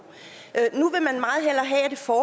for